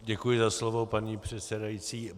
Děkuji za slovo, paní předsedající.